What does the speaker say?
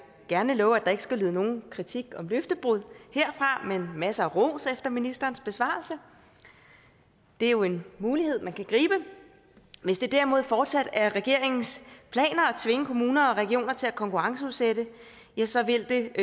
gerne love at der ikke skal lyde nogen kritik om løftebrud herfra men masser af ros efter ministerens besvarelse det er jo en mulighed man kan gribe hvis det derimod fortsat er regeringens plan at tvinge kommuner og regioner til at konkurrenceudsætte så vil det